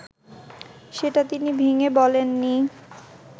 সেটা তিনি ভেঙে বলেননি